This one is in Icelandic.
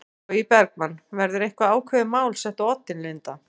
Logi Bergmann: Verður eitthvað ákveðið mál sett á oddinn Linda?